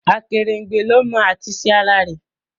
Akerengbe ló mọ at'isẹ ara-re